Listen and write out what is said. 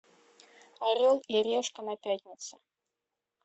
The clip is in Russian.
орел и решка на пятнице